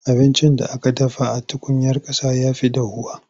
Abincin da aka dafa a tukuyar ƙasa ya fi dahuwa.